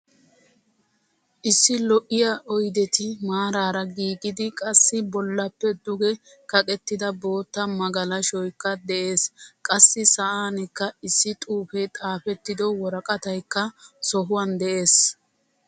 Issi lo'iyaa oydetti maaraara giigidi qassi bollappe duge kaqettida bootta magalashoykka de'ees. Qassi sa'ankka issi xuufe xaafettido worqqataykka sohuwan de'ees.